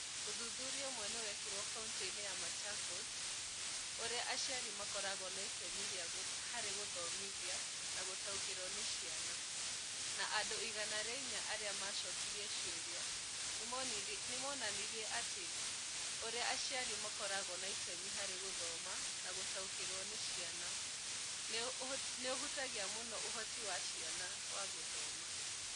Ũthuthuria ũmwe wekirũo kaunti-inĩ ya Machakos wĩgiĩ ũrĩa aciari makoragwo na itemi harĩ gũthoma na gũtaũkĩrũo nĩ ciana, na andũ 104 arĩa maacokirio ciũria, nĩ monanirie atĩ ũrĩa aciari makoragwo na itemi harĩ gũthoma na gũtaũkĩrũo nĩ ciana nĩ ũhutagia mũno ũhoti wa ciana wa gũthoma.